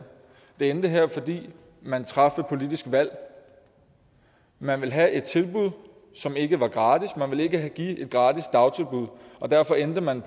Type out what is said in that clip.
det endte her fordi man traf et politisk valg man ville have et tilbud som ikke var gratis man ville ikke give et gratis dagtilbud og derfor endte man